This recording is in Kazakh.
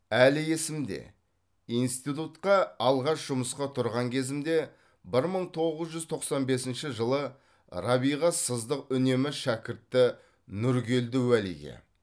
әлі есімде институтқа алғаш жұмысқа тұрған кезімде бір мың тоғыз жүз тоқсан бесінші жылы рабиға сыздық үнемі шәкірті нұргелді уәлиге